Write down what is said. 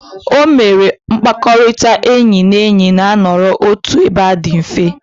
O mere mkpakọrịta enyi na enyi na-anọrọ otu ebe a di mfe.